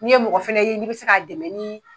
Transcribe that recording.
N'i ye mɔgɔ fɛnɛ ye n'i bɛ se k'a dɛmɛ ni